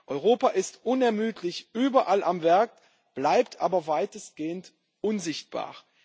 Europa ist unermüdlich überall am Werk, bleibt aber weitestgehend unsichtbar.